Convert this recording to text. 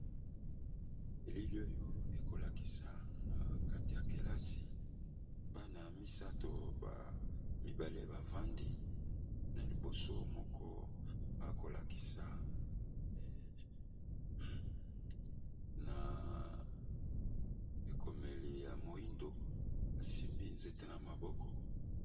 Elili oyo ekola kisa na kati ya kelasi bana misato ba mibale bavandi na liboso moko akola kisa na ekomeli ya moindo asimbi nzete na maboko.